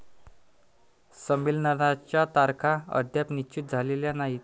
संमलेनाच्या तारखा अद्याप निश्चित झालेल्या नाहीत.